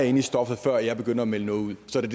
inde i stoffet før jeg begynder at melde noget ud så det